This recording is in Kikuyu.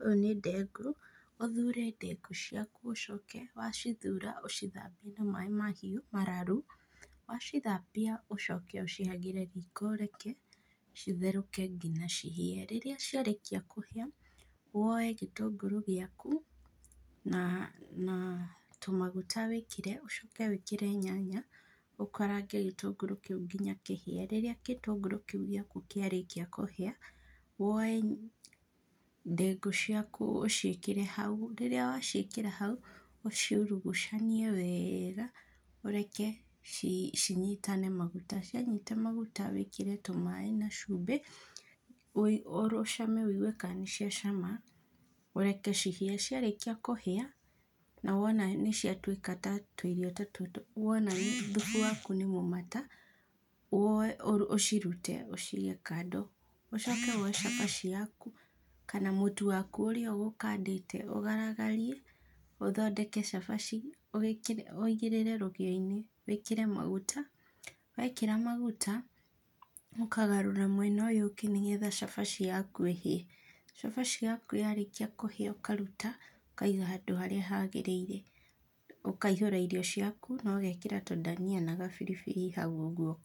ũyũ nĩ ndengũ. Ũthure ndengũ ciaku, ũcoke wacithura ũcithambie na maĩ mahiũ mararu, wacithambia ũcoke ũcihagĩre riko ũreke citherũke nginya cihĩe. Rĩrĩa ciarĩkia kũhĩa, woe gĩtũngũrũ gĩaku na tũmaguta wĩkĩre, ũcoke wĩkre nyanya ũkarange gĩtũngũrũ kĩu kinya kĩhĩe. Rĩrĩa gĩtũngũrũ kĩu gĩaku kĩarĩkia kũhĩa, woe ndengũ ciaku ũciĩkĩre hau, rĩrĩa waciĩkĩra hau, ũciurugucanie wega, ũreke cinyitane maguta, cianyita maguta, wĩkĩre tũmaĩ na cumbĩ ũcame wĩigue kana nĩciacama ũreke cihĩe. Ciarĩkia kũhĩa, na wona nĩciatuĩka ta tũirio ta tũtũ, wona thubu waku nĩ mũmata, woe ũcirute, ũcige kando. Ũcoke woe cabaci yaku kana mũtu waku ũrĩa ũgũkandĩte ũgaragarie ũthondeke cabaci, ũigĩrĩre rũgĩo-inĩ wĩkĩre maguta, wekĩra maguta ũkagarũra mwena ũyũ ũngĩ, nĩgetha cabaci yaku ĩhĩe. Cabaci yaku yarĩkia kũhĩa ũkaruta ũkaiga handũ harĩa hagĩrĩire, ũkaihũra irio ciaku na ũgekĩra tũndania na gabiribiri hau ũguo.